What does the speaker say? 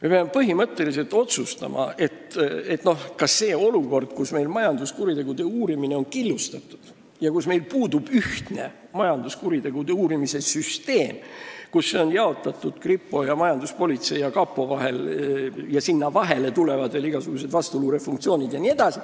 Me peame põhimõtteliselt otsustama, kas me lepime olukorraga, kus meil on majanduskuritegude uurimine killustatud ja puudub ühtne majanduskuritegude uurimise süsteem – see on jaotatud kripo, majanduspolitsei ja kapo vahel, mille vahele tulevad veel igasugused vastuluurefunktsioonid jne.